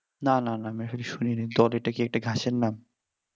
না না না আমি আসলে শুনিনি দল টা এটা কি গাছের নাম